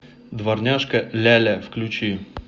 дворняжка ляля включи